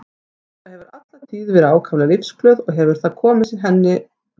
Inga hefur alla tíð verið ákaflega lífsglöð og hefur það komið henni vel.